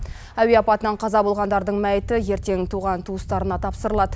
әуе апатынан қаза болғандардың мәйіті ертең туған туыстарына тапсырылады